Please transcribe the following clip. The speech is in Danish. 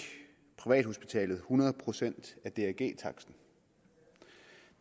privathospitalet hundrede procent af drg taksten